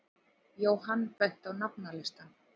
Jóhann benti á nafnalistann.